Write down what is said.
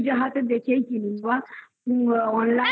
হাতে দেখেই কিনি. বল. online এই তুই সেটাও করতে পারিস